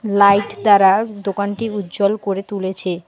Light দ্বারা দোকানটি উজ্জ্বল করে তুলেছে।